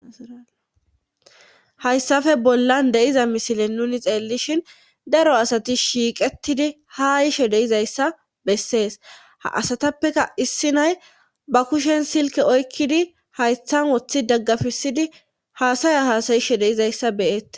Hayssafe bollan de7iza misile nuni xeellishhin daro asati shiiqetidi haayishe deizayssa bessees ha asatappeka issi nay ba kushen silke oykkidi haythan woththi daggafisidi haasaya haasayishe deizayssa beyette.